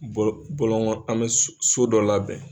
Bɔ bɔlɔngɔ an mɛ su so dɔ labɛn.